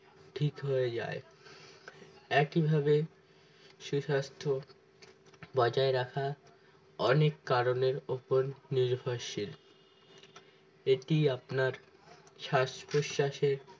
ঠিক হয়ে যায় একইভাবে সুস্বাস্থ্য বজায় রাখা অনেক কারণ এর উপর নির্ভরশীল এটি আপনার শ্বাস প্রশ্বাসের